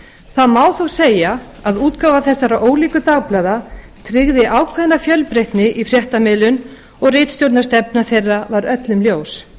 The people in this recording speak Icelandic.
það má þó segja að útgáfa þessara ólíku dagblaða tryggði ákveðna fjölbreytni í fréttamiðlun og ritstjórnarstefna þeirra var öllum ljós